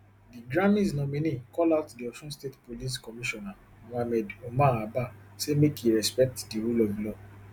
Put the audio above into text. di grammys nominee call out di osun state police commissioner mohammed umar abba say make e respect di rule of law